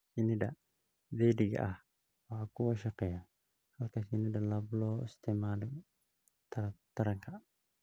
Shinnida dheddigga ah waa kuwa shaqeeya, halka shinnida lab loo isticmaalo taranka.